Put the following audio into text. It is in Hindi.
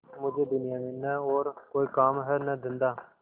मुझे दुनिया में न और कोई काम है न धंधा